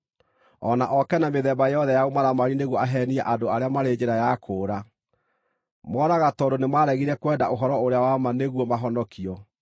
o na ooke na mĩthemba yothe ya ũmaramari nĩguo aheenie andũ arĩa marĩ njĩra ya kũũra. Moraga tondũ nĩmaregire kwenda ũhoro-ũrĩa-wa-ma nĩguo mahonokio.